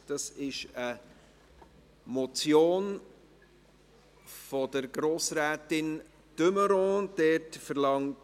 Es handelt sich um eine Motion von Grossrätin de Meuron.